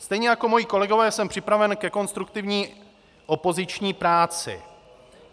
Stejně jako moji kolegové jsem připraven ke konstruktivní opoziční práci.